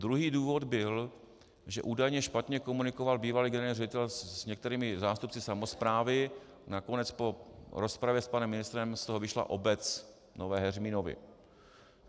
Druhý důvod byl, že údajně špatně komunikoval bývalý generální ředitel s některými zástupci samosprávy, nakonec po rozpravě s panem ministrem z toho vyšla obec Nové Heřminovy.